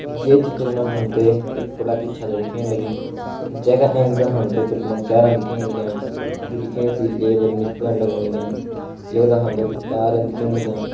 ये चित्र मा हमते एक कुड़ा की छत्त च दिखेण लगीं जिनका एंच दा हमते कुछ मुंडस्यारा च दिखेण लग्यां जू दिखेण से लेबर मिस्त्री लगण लग्यां यखदा हमते कुछ तारन दिखेण लग्यां।